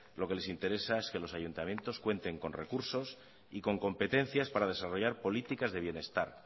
lo que les interesa es que los ayuntamientos cuenten con recursos y con competencias para desarrollar políticas de bienestar